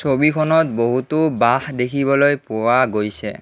ছবিখনত বহুতো বাঁহ দেখিবলৈ পোৱা গৈছে।